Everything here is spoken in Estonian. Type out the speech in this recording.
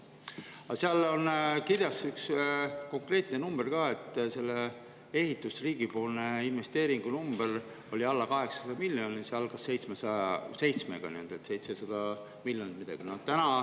Aga seal oli kirjas üks konkreetne number, et selle ehituse riigipoolse investeeringu number oli alla 800 miljoni, see algas seitsmega, nii et 700 miljonit ja midagi.